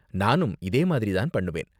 நானும் இதேமாதிரி தான் பண்ணுவேன்.